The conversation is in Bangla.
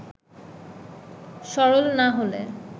সরল না হলে